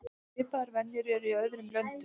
Svipaðar venjur eru í öðrum löndum.